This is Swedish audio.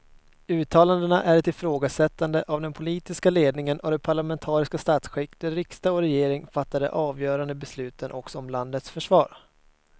Uttalandena är ett ifrågasättande av den politiska ledningen och det parlamentariska statsskick där riksdag och regering fattar de avgörande besluten också om landets försvar.